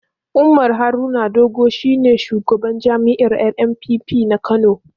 Umar Haruna Doguwa shi ne shugaban jam'iyyar NNPP na Kano.